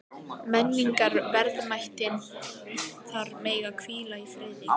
Menningarverðmætin þar mega hvíla í friði.